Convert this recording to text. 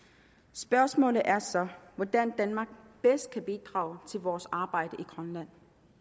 spørgsmålet er så hvordan danmark bedst kan bidrage til vores arbejde i grønland